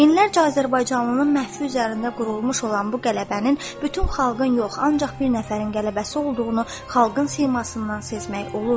Minlərcə azərbaycanlının məhvi üzərində qurulmuş olan bu qələbənin bütün xalqın yox, ancaq bir nəfərin qələbəsi olduğunu xalqın simasından sezmək olurdu.